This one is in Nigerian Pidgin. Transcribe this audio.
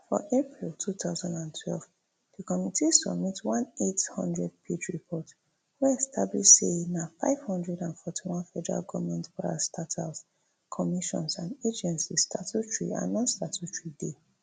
for april two thousand and twelve di committee submit one eight hundred page report wey establish say na five hundred and forty-one federal goment parastatals commissions and agencies statutory and non statutory dey